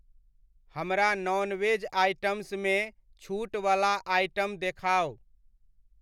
हमरा non veg आइटम्समे छूट वला आइटम देखाउ।